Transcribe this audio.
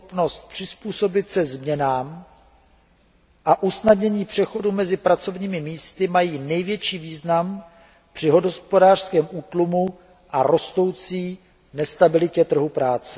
schopnost přizpůsobit se změnám a usnadnění přechodu mezi pracovními místy mají největší význam při hospodářském útlumu a rostoucí nestabilitě na trhu práce.